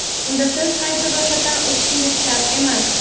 unda siz qayta ro‘yxatdan o‘tishingiz shart emas.